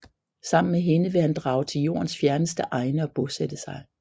Sammen med hende vil han drage til Jordens fjerneste egne og bosætte sig